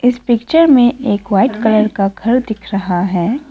इस पिक्चर में एक व्हाइट कलर का घर दिख रहा है।